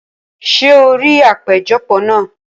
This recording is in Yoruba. Ṣé o rí àpéjọpọ̀ náà?